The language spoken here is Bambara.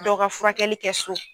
Dɔ ka furakɛli kɛ so.